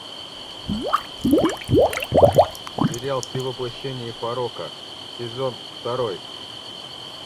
сериал ты воплощение порока сезон второй